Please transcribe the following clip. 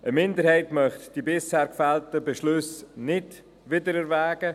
Eine Minderheit möchte die bisher gefällten Beschlüsse nicht wiedererwägen.